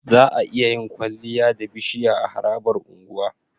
Za'a iya yin kwaliya da bishiya a harabar unguwa